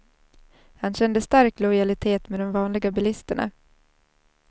Han kände stark lojalitet med de vanliga bilisterna.